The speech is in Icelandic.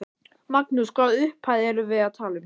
Magnús: Hvaða upphæð erum við að tala um?